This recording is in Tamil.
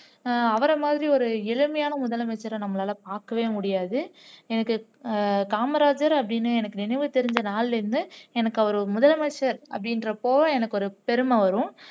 அஹ் அவரை மாதிரி ஒரு எளிமையான முதலமைச்சரை நம்மளால பாக்கவே முடியாது எனக்கு உம் காமராஜர் அப்படின்னு நினைவு தெரிஞ்ச நாள்ல இருந்து எனக்கு அவர் ஒரு முதலமைச்சர் அப்படின்றப்போ எனக்கு ஒரு பெருமை வரும்